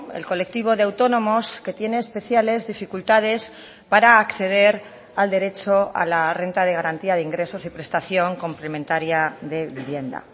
el colectivo de autónomos que tiene especiales dificultades para acceder al derecho a la renta de garantía de ingresos y prestación complementaria de vivienda